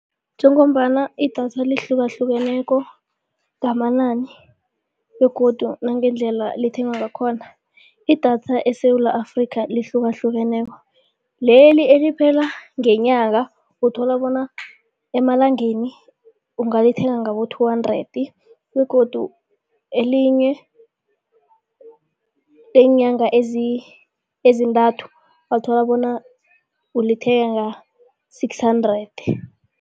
Njengombana idatha lihlukahlukeneko ngamanani begodu nangendlela lithengwa ngakhona. Idatha eSewula Afrika lihlukahlukeneko leli eliphela ngenyanga uthola bona emalangeni ungalithenga ngabo-two hundred begodu elinye leenyanga ezintathu ungathola bona ulithenga-six hundred.